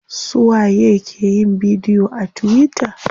Suwa ye ke yin bidiyo a tuwita?